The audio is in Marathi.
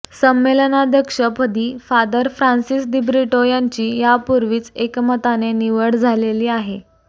संमेलनाध्यक्ष पदी फादर फ्रान्सिस दिब्रिटो यांची यापूर्वीच एकमताने निवड झालेली आहे